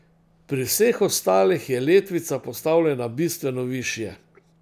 Pri vseh ostalih je letvica postavljena bistveno višje.